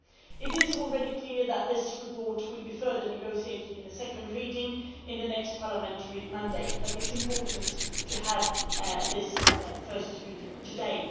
It is already clear that this report will be further negotiated in a second reading in the next parliamentary mandate, but it is important to have this first reading today.